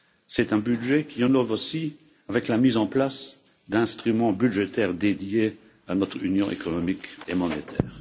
C'est un budget qui innove aussi avec la mise en place d'instruments budgétaires dédiés à notre Union économique et monétaire.